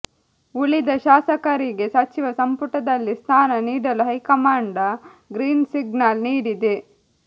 ಉಳಿದ ಶಾಸಕರಿಗೆ ಸಚಿವ ಸಂಪುಟದಲ್ಲಿ ಸ್ಥಾನ ನೀಡಲು ಹೈಕಮಾಂಡ ಗ್ರೀನ್ ಸಿಗ್ನಲ್ ನೀಡಿದೆ